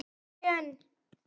Þetta ætti hún að vita.